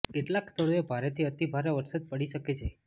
કેટલાક સ્થળોએ ભારેથી અતિ ભારે વરસાદ પડી શકે છે